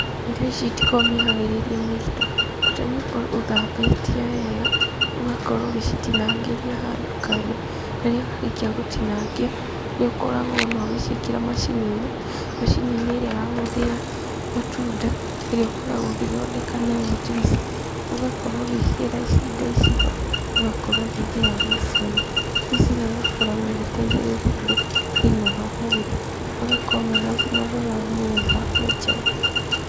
Irio ici itikoragwo mĩharĩrie mĩritũ, bata nĩ ũkorwo ũthambĩtie wega, ũgakorwo ũgĩcitinangĩria handũ kando, rĩrĩa warĩkia gũtinangia nĩ ũkoragwo ũgĩciĩkĩra macini-inĩ, macini-inĩ ĩrĩa ya gũthĩa matunda, ĩrĩa ũkoragwo ũgĩthondeka nayo njuici, ũgakorwo ũgĩkĩra indo ici ho, ũgakorwo ũgĩthĩa njuici ĩno, njuici ĩno nĩ ĩkoragwo ĩgĩteithĩrĩria andũ thĩiniĩ wa mwĩrĩ, magakorwo mena ũgima mwega wa mĩrĩ na afya njega.